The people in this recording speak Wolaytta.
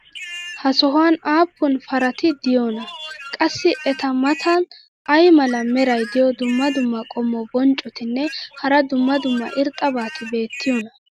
ha sohuwan aappun parati diyoonaa? qassi eta matan ay mala meray diyo dumma dumma qommo bonccotinne hara dumma dumma irxxabati beetiyoonaa?